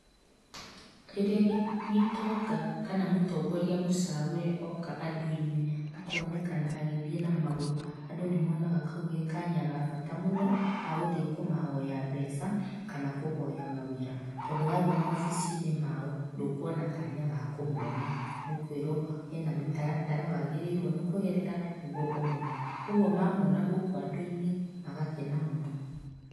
Rĩrĩa gĩtonga kana mũtongoria mũcagũre oka andũinĩ, akonekana agĩthiĩ na magũrũ, andũ nĩ monaga kau ge kanya ga bata mũno ga gũthiĩ kũmahoya mbeca kana ga kũhoya mawĩra, tondũ wa thiĩ mawobicinĩ mao, ndũkuona kanya ga kũmona. Ũkwĩrwo hena mĩtaratara wagĩrĩirwo nĩkũgerera nĩguo ũmone. Kuoguo mamona gũkũ andũ-inĩ magakena mũno.